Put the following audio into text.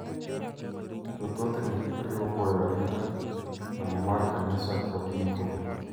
To thothne oriwo goyo arita, lamo mar kanisa, kod iko.